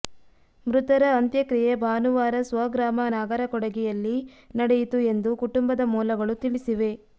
ಮೃತರ ಅಂತ್ಯಕ್ರಿಯೆ ಭಾನುವಾರ ಸ್ವಗ್ರಾಮ ನಾಗರಕೊಡಿಗೆಯಲ್ಲಿ ನಡೆಯಿತು ಎಂದು ಕುಟುಂಬದ ಮೂಲಗಳು ತಿಳಿಸಿವೆ